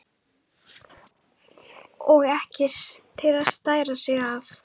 Og ekki til að stæra sig af!